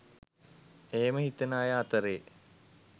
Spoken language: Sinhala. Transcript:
එහෙම හිතන අය අතරේ